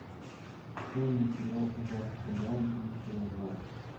открой мне сериал аббатство даунтон серия два